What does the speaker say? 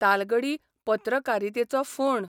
तालगडी पत्रकारितेचो फोंण